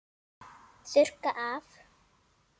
Þurrka af.